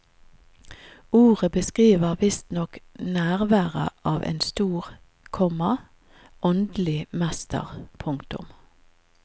Ordet beskriver visstnok nærværet av en stor, komma åndelig mester. punktum